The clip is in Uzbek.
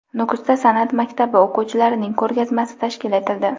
Nukusda san’at maktabi o‘quvchilarining ko‘rgazmasi tashkil etildi.